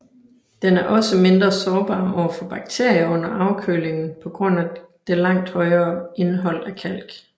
Den er også mindre sårbar over for bakterier under afkølingen på grund af det langt højere indhold af kalk